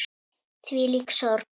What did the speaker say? Þvílík sorg.